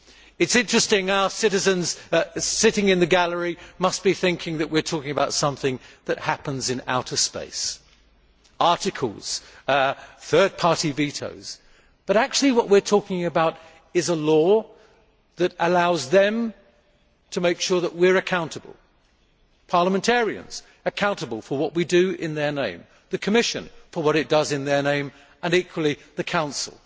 It is interesting that our citizens sitting in the gallery must be thinking that we are talking about something that happens in outer space articles, third party vetoes but actually what we are talking about is a law that allows them to make sure that we are accountable parliamentarians accountable for what we do in their name, the Commission for what it does in their name, and, equally, the Council.